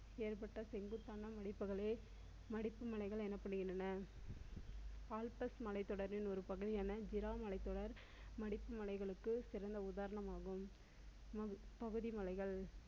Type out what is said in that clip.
ஏற்பட்ட செங்குத்தான மடிப்புகளே மடிப்பு மலைகள் எனப்படுகின்றன. ஆல்பஸ் மலை தொடரில் ஒரு பகுதியாக ஜிலான் மலைத்தொடர் மடிப்பு மலைகளுக்கு சிறந்த உதாரணம் ஆகும். பகுதி மலைகள்